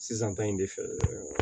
Sisan ta in de fɛ